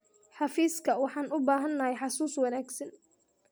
Xafiiska, waxaan u baahanahay xasuus wanaagsan.